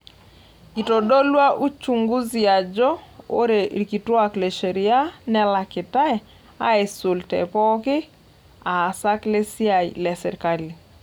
Eitodolua uchunguzi ajo ore ilkituak le sheria nelakitai asul te pooki aasak le siai le serkali.